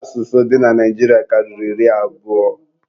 Asụsụ dị na Naijiria karịrị iri abụọ